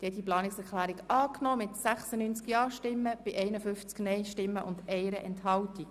Sie haben die Planungserklärung 1a angenommen mit 96 Ja- gegen 51 Nein-Stimmen bei 1 Enthaltung.